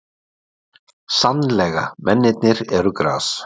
Sannlega, mennirnir eru gras.